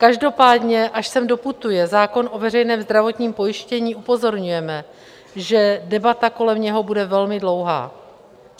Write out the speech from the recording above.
Každopádně až sem doputuje zákon o veřejném zdravotním pojištění, upozorňujeme, že debata kolem něho bude velmi dlouhá.